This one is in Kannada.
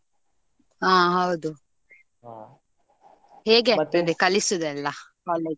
ಆ ಹೌದು ಹೇಗೆ ಆಗ್ತದೆ ಕಲಿಸುದು ಎಲ್ಲಾ college ಅಲ್ಲಿ?